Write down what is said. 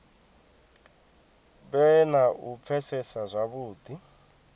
vhe na u pfesesa zwavhudi